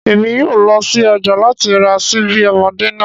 Emi yoo lọ si ọja lati ra ṣibi ọmọde naa